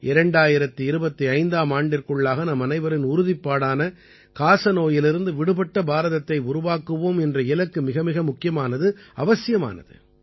2025ஆம் ஆண்டிற்குள்ளாக நம்மனைவரின் உறுதிப்பாடான காசநோயிலிருந்து விடுபட்ட பாரதத்தை உருவாக்குவோம் என்ற இலக்கு மிகமிக முக்கியமானது அவசியமானது